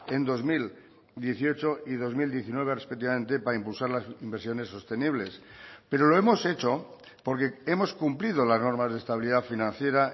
en dos mil dieciocho y dos mil diecinueve respectivamente para impulsar las inversiones sostenibles pero lo hemos hecho porque hemos cumplido las normas de estabilidad financiera